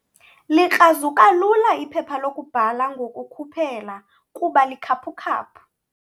Likrazuka lula iphepha lokubhala ngokukhuphela kuba likhaphukhaphu.